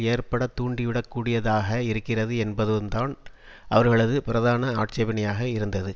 ஏற்படத் தூண்டிவிடக்கூடியதாக இருக்கிறது என்பதுதான் அவர்களது பிரதான ஆட்சேபனையாக இருந்தது